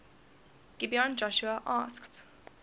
gibeon joshua asked